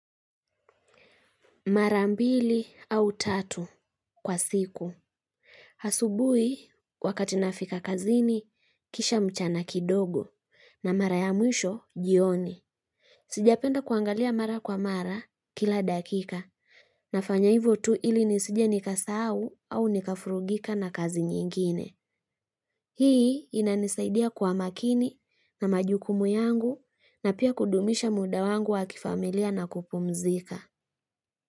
Mara mbili au tatu kwa siku. Asubuhi wakati nafika kazini kisha mchana kidogo na mara ya mwisho jioni. Sijapenda kuangalia mara kwa mara kila dakika. Nafanya hivo tu ili nisije nikasahau au nikafurugika na kazi nyingine. Hii inanisaidia kwa makini na majukumu yangu na pia kudumisha muda wangu wakifamilia na kupumzika.